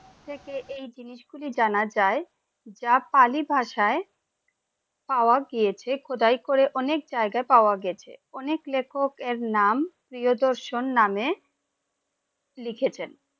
থেকে এই জিনিস গুলি জানা যায় যা পালি ভাষায় পাওয়া গিয়েছে খোদাই করে অনেক জায়গায় পাওয়া গেছে অনেক লেখক এর নাম প্রিয়দর্শন নামে লিখেছেন